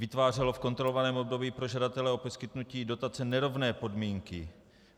Vytvářelo v kontrolovaném období pro žadatele o poskytnutí dotace nerovné podmínky.